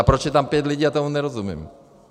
A proč je tam pět lidí, já tomu nerozumím.